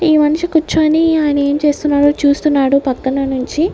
ఈ మనిషి కూర్చొని ఆయన ఏం చేస్తున్నాడో చూస్తున్నాడు పక్కన నుంచి.